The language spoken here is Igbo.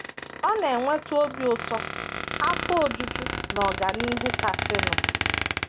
Ọ na - eweta obi ụtọ, afọ ojuju, na ọganihu kasịnụ.